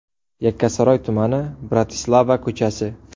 Yakkasaroy tumani, Bratislava ko‘chasi.